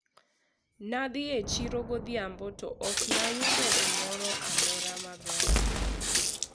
ne adhi e chiro godhiambo to ok ne ayudo gimoro amora maber